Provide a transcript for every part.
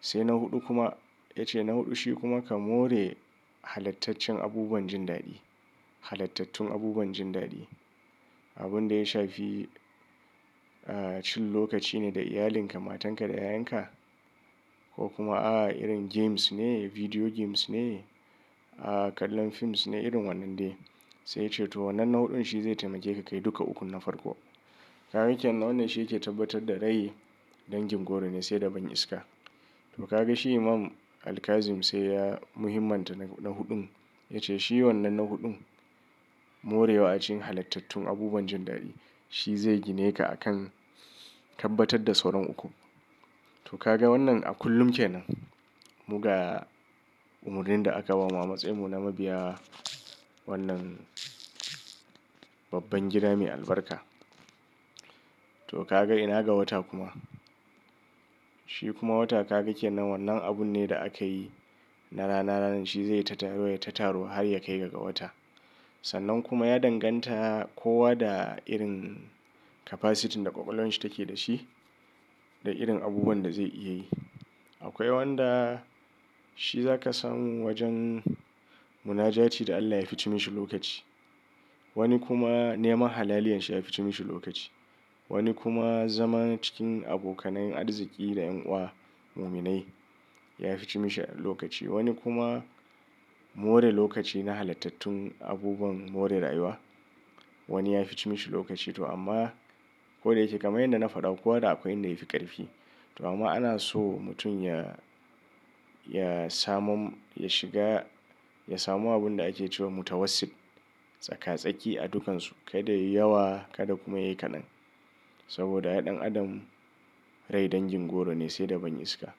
Sai na huɗu kuma ya ce na huɗu shi kuma ka more halattacen abubuwan jin daɗi, halattatun abubuwan jin daɗi. Abin da ya shafi, ah, cin lokaci ne da iyalinka, matanka da 'ya'yanka ko kuma a irin games ne, video games ne, ah, kallon films ne irin wannan dai. Sai ya ce to wannan na huɗun shi zai taimake ka duka ukun na farko. Ka kenan wannan shi yake tabbatar da rai dangin goro ne sai da ban iska. To kaga shi Imam al-Kazim sai ya muhimanta na huɗun. Ya ce shi wannan na huɗun morewa a cikin halattatun abubuwan jin daɗi. Shi zai gine ka akan tabbatar da sauran uku. To kaga wannan a kullum kenan. Muga umarnin da aka bamu a matsayinmu na mabiyawa wannan babban gida mai albarka. To kaga ina ga wata kuma. Shi kuma wata ka gake nan wannan abun ne da aka yi na rana rana. Shi zai yi ta taru da ta taru har ya kai ga wata. Sannan kuma ya danganta kowa da irin capacity da kwakwalwan shi take da shi da irin abubuwan da zai iya yi. Akwai wanda shi za ka san wajen munajati da Allah ya fi cimi shi lokaci. Wani kuma neman halaliyan shi ya fi cimi shi lokaci. Wani kuma zama cikin abokanai arziki da ƴan uwa muminai ya fi cemi shi lokaci. Wani kuma more lokaci na halattatun abubuwan more rayuwa wani ya fi cemi shi lokaci. To amma ko da yake kamar yadda na faɗa, kowa da akwai inda yafi ƙarfi. To amma ana so mutum ya, ya samu, ya shiga ya samu abin da ake cewa mutawassit. Tsaka tsaki a dukansu. Kada yayi yawa kada kuma yayi ƙadan. Saboda ai ɗan adam rai dangin goro ne sai da ban iska.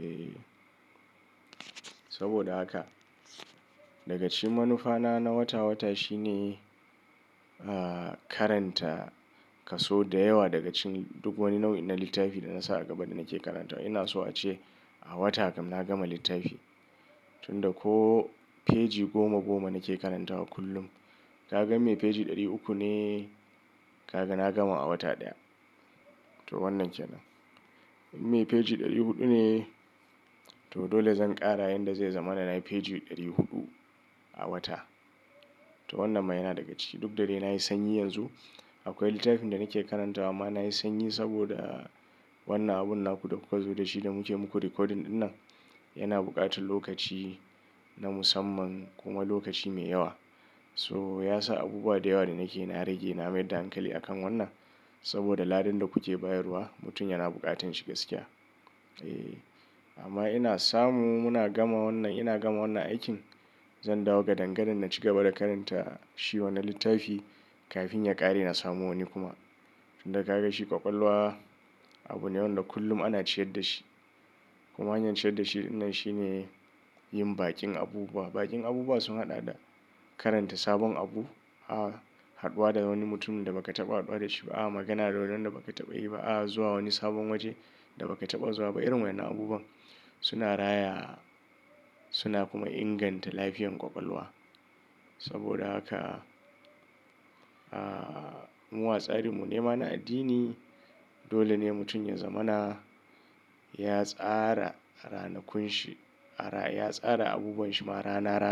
Eh saboda haka daga cikin manufa na na wata wata shine, ah, karanta kaso da yawa daga cikin duk wani nau'in littafi da na sa a gaba da nake karantawa. Ina so ace a wata kam na gama littafi. Tunda ko feji goma goma nake karantawa kullum. Kaga in me feji ɗari uku ne kaga na gama a wata ɗaya. To wannan kenan. In me feji ɗari huɗu ne to dole zan ƙara yanda zai zama na nayi feji ɗari huɗu a wata. To wannan ma yana daga ciki. Duk da dai nayi sanyi yanzu. Akwai littafin da nake karantawa amma nayi sanyi saboda wannan abun naku da kuka zo da shi da muke muku recording ɗinan yana buƙatan lokaci na musamman kuma lokaci mai yawa. So ya sa abubuwa da yawa da nake na rage na mai da hankali a kan wannan saboda ladan da kuke bayarwa mutum yana buƙatan shi gaskiya. Eh amma ina samu muna gama wannan ina gama wannan aikin. Zan dawo ga dangadan na ci gaba da karanta shi wani littafi kafin ya ƙare na samu wani kuma. Inda ka ga shi ƙwaƙwalwa abu ne wanda kullum ana ciyar da shi. Kuma hanyar ciyar da shi dinnan shine yin bakin abubuwa. Bakin abubuwa sun haɗa da karanta sabon abu, a, haɗuwa da wani mutum da baka taɓa haɗuwa da shi ba, a, magana da wuni wanda baka taɓa yi ba, a, zuwa wani sabon waje da baka taɓa zuwa ba. Irin wannan abubuwan suna raya suna kuma inganta lafiyar ƙwaƙwalwa. Saboda haka, ah, mu atsarin mu nema na addini. Dole ne mutum yanzamana ya tsara ranakun shi, ya tsara abubwan shi ma rana rana.